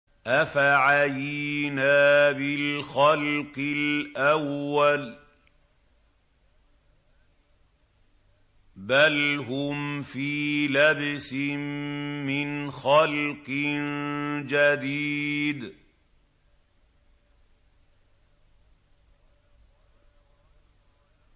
أَفَعَيِينَا بِالْخَلْقِ الْأَوَّلِ ۚ بَلْ هُمْ فِي لَبْسٍ مِّنْ خَلْقٍ جَدِيدٍ